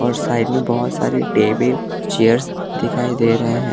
और साइड में बहोत सारी टेबिल चेयर्स दिखाई दे रहे है।